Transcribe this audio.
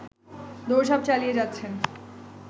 দৌড়-ঝাঁপ চালিয়ে যাচ্ছেন